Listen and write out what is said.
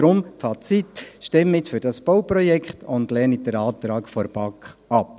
Deswegen mein Fazit: Stimmen Sie für dieses Bauprojekt und lehnen Sie den Antrag der BaK ab.